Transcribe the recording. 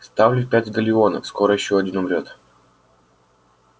ставлю пять галлеонов скоро ещё один умрёт